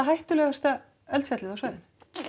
hættulegasta eldfjallið á svæðinu